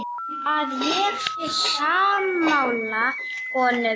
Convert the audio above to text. Að ég sé sammála honum.